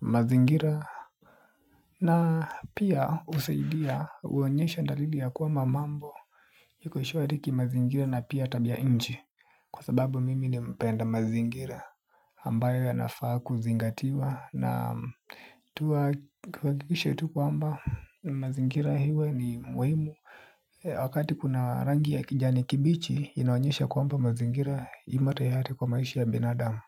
mazingira na pia husaidia huonyesha dalili ya kuwa mamambo iko shwari kimazingira na pia tabia ya nchi kwa sababu mimi ni mpenda mazingira ambayo yanafaa kuzingatiwa. Naam, tuhakikishe tu kwamba mazingira iwe ni muhimu wakati kuna rangi ya kijani kibichi inaonyesha kwamba mazingira imo tayari kwa maishi ya binadamu.